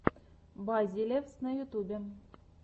базелевс на ютюбе